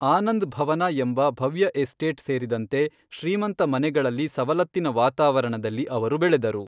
ಆನಂದ್ ಭವನ ಎಂಬ ಭವ್ಯ ಎಸ್ಟೇಟ್ ಸೇರಿದಂತೆ, ಶ್ರೀಮಂತ ಮನೆಗಳಲ್ಲಿ ಸವಲತ್ತಿನ ವಾತಾವರಣದಲ್ಲಿ ಅವರು ಬೆಳೆದರು.